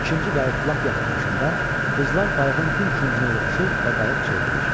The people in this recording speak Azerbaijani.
İkinci qayıq lap yaxınlaşanda qızlar qayığın bir küncünə yığışır və qayıq çevrilir.